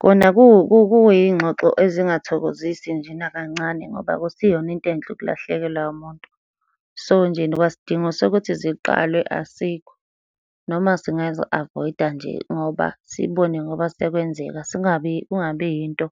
Kona kuyingxoxo ezingathokozisi nje nakancane, ngoba akusiyona into enhle ukulahlekelwa umuntu. So, nje kwasidingo sokuthi ziqalwe asikho, noma singazi-avoid-a nje ngoba sibone ngoba sekwenzeka, singabi kungabi yinto